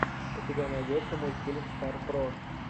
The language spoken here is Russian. у тебя найдется мультфильм стар про